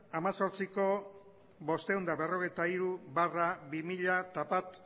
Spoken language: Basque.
hemezortziko bostehun eta berrogeita hiru barra bi mila bat